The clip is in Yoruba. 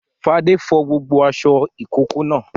Fadé fọ gbogbo aṣọ ìkókó náà.